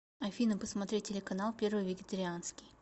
афина посмотреть телеканал первый вегетарианский